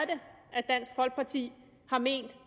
at dansk folkeparti har ment